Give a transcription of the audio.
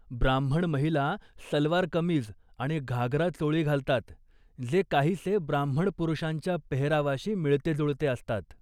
ब्राम्हण महिला सलवार कमीज आणि घागरा चोळी घालतात, जे काहीसे ब्राम्हण पुरुषांच्या पेहरावाशी मिळतेजुळते असतात.